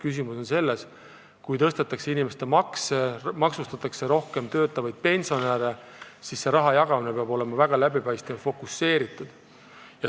Küsimus on selles, et kui tõstetakse inimeste makse, maksustatakse rohkem töötavaid pensionäre, siis peab raha jagamine olema väga läbipaistev ja targalt fokuseeritud.